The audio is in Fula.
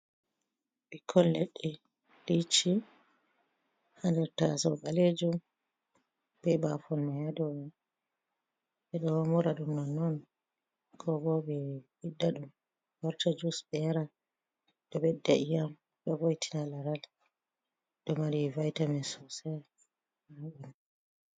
Ɓikkoy leɗɗe licci haa nder tasowo ɓaleejum be baafon may a dow man. Ɓe ɗo mura ɗum nonnon ko bo, ɓe ɓiɗɗa ɗum wartira ɗum jiwus ɓe yara .Ɗo bedda ƴiyam be voitina laral ,ɗo mari vaitamin sosay haa maajum.